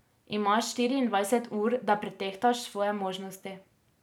Imaš štiriindvajset ur, da pretehtaš svoje možnosti.